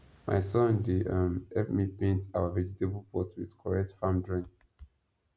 my son dey um help me paint our vegetable pot with correct farm drawing